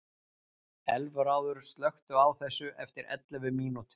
Elfráður, slökktu á þessu eftir ellefu mínútur.